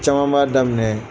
Caman b'a daminɛ